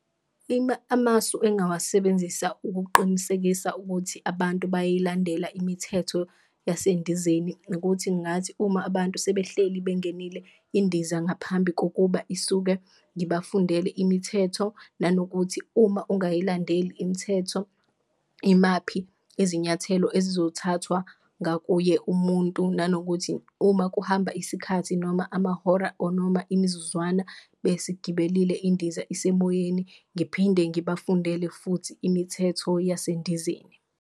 Amasu engawasebenzisa ukuqinisekisa ukuthi abantu bayayilandela imithetho yasendizeni ukuthi ngathi uma abantu sebehleli bengenile, indiza ngaphambi kokuba isuke ngibe bafundele imithetho nanokuthi uma ungayilandeli imithetho, imaphi izinyathelo ezizothathwa ngakuye umuntu. Nanokuthi uma kuhamba isikhathi noma amahora or noma imizuzwana besigibele indiza isemoyeni ngiphinde ngibafundele futhi imithetho yasendizeni.